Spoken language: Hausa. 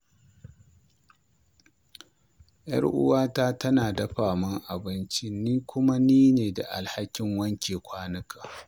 Yar'uwata tana dafa abinci, ni kuwa nine da alhakin wanke kwanuka.